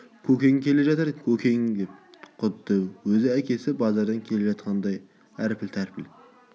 көкең келе жатыр көкең деп құдды өз әкесі базардан келе жатқандай әрпіл-тәрпіл